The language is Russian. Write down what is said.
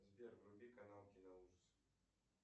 сбер вруби канал киноужасы